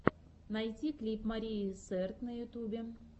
найти клип марии сэрт на ютубе